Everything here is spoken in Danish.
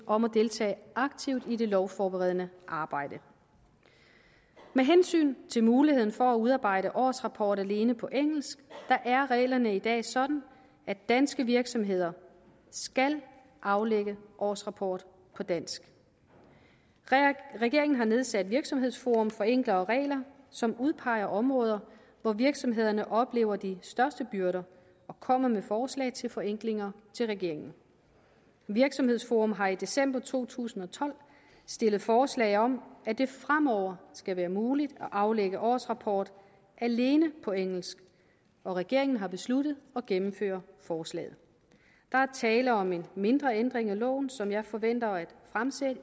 om at deltage aktivt i det lovforberedende arbejde med hensyn til muligheden for at udarbejde en årsrapport alene på engelsk er reglerne i dag sådan at danske virksomheder skal aflægge årsrapport på dansk regeringen har nedsat virksomhedsforum for enklere regler som udpeger områder hvor virksomhederne oplever de største byrder og kommer med forslag til forenklinger til regeringen virksomhedsforum har i december to tusind og tolv stillet forslag om at det fremover skal være muligt at aflægge årsrapport alene på engelsk og regeringen har besluttet at gennemføre forslaget der er tale om en mindre ændring af loven som jeg forventer at fremsætte